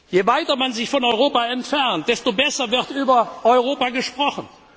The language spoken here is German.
Je weiter man sich von Europa entfernt, desto besser wird über Europa gesprochen.